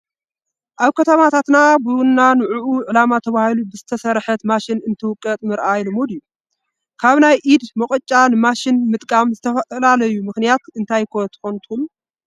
ኣብ ከተማታት ቡና ንዑዑ ዓላማ ተባሂላ ብዝተሰርሐት ማሽን እንትውቀጥ ምርኣይ ልሙድ እዩ፡፡ ካብ ናይ ኢድ መቆጫ ንማሽን ምጥቃም ዝተደለየሉ ምኽንያት እንታይ ይኾን ትብሉ?